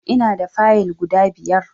Ina da Fayill guda biyar